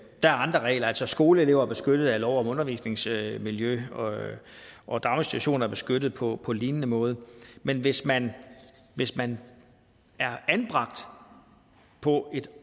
der andre regler altså skoleelever er beskyttet af lov om undervisningsmiljø og daginstitutioner er beskyttet på på lignende måde men hvis man hvis man er anbragt på et